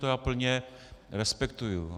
To já plně respektuji.